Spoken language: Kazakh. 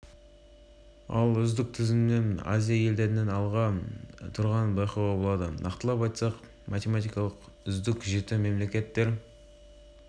эстония тайвань финляндия бар ал ондыққақытай макао канада вьетнам қытай гонконг қытай бейжің кірген аталған